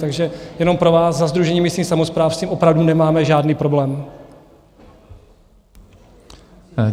Takže jenom pro vás, za Sdružení místních samospráv s tím opravdu nemáme žádný problém.